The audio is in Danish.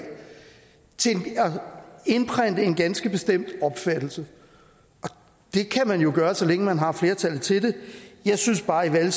til at indprente en ganske bestemt opfattelse og det kan man jo gøre så længe man har flertallet til det jeg synes bare i